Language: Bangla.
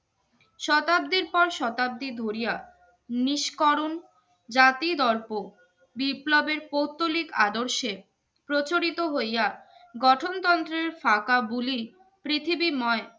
শতাব্দীর পর শতাব্দী ধরিয়া নিস্করণ জাতিদর্প বিপ্লবীর কোর্তোলিক আদর্শে প্রচারিত হইয়া গঠনত্রন্ত্রের শাখা গুলি পৃথিবী মই